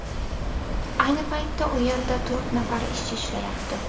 Ayni paytda u yerda to‘rt nafar ishchi ishlayapti.